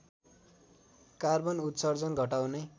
carbon उत्सर्जन घटाउने